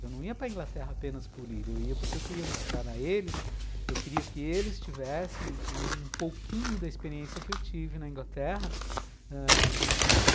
Eu não ia para a Inglaterra apenas por ir, eu ia porque eu queria mostrar a eles, eu queria que eles tivessem um pouquinho da experiência que eu tive na Inglaterra ãh